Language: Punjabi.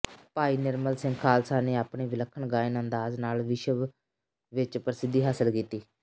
ਭਾਈ ਨਿਰਮਲ ਸਿੰਘ ਖਾਲਸਾ ਨੇ ਆਪਣੇ ਵਿਲੱਖਣ ਗਾਇਨ ਅੰਦਾਜ਼ ਨਾਲ ਵਿਸ਼ਵ ਵਿਚ ਪ੍ਰਸਿੱਧੀ ਹਾਸਲ ਕੀਤੀ